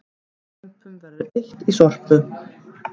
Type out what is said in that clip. Lömpum verður eytt í Sorpu